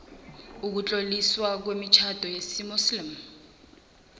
ukutloliswa kwemitjhado yesimuslimu